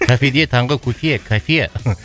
кафеге таңғы кофе кафе